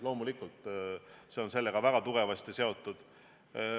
Loomulikult, see on sellega väga tugevasti seotud.